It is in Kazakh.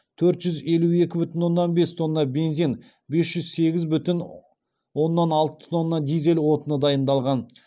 төрт жүз елу екі бүтін оннан бес тонна бензин бес жүз сегіз бүтін оннан алты тонна дизель отыны дайындалған